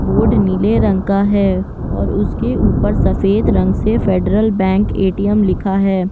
Board नीले रंग का है और उसके ऊपर सफ़ेद रंग से फ़ेडरल बैंक ए.टी.एम लिखा हैं।